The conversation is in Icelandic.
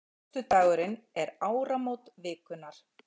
Föstudagurinn er áramót vikunnar.